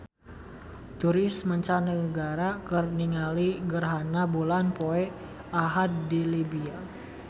Turis mancanagara keur ningali gerhana bulan poe Ahad di Libya